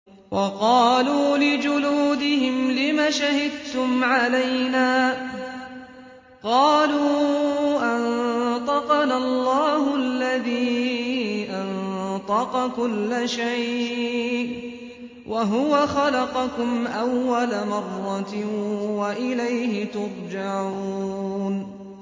وَقَالُوا لِجُلُودِهِمْ لِمَ شَهِدتُّمْ عَلَيْنَا ۖ قَالُوا أَنطَقَنَا اللَّهُ الَّذِي أَنطَقَ كُلَّ شَيْءٍ وَهُوَ خَلَقَكُمْ أَوَّلَ مَرَّةٍ وَإِلَيْهِ تُرْجَعُونَ